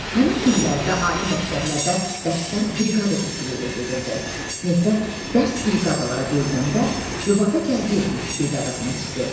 Həmin illərdə ali məktəblərdə dərslər briqada üsulu ilə gedirdi, sinifdə dərs briqadalara bölünəndə Rübəbə Gəldiyevin briqadasına düşdü.